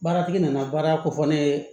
Baaratigi nana baara kofɔ ne ye